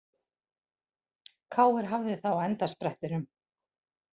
KR hafði það á endasprettinum